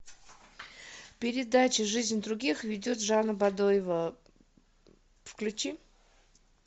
передача жизнь других ведет жанна бадоева включи